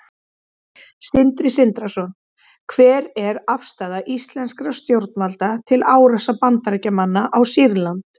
Stjórn hlutafélags verður að meta það að viðlagðri ábyrgð hvort fyrrgreindum skilyrðum sé fullnægt.